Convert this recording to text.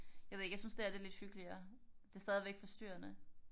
Jeg ved ikke jeg synes det her er lidt hyggeligere. Det er stadigvæk forstyrrende